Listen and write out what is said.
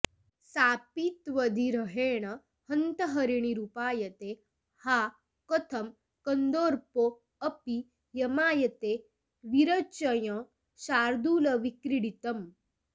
सापि त्वद्विरहेण हन्त हरिणीरूपायते हा कथं कन्दर्पोऽपि यमायते विरचयञ्शार्दूलविक्रीडितम्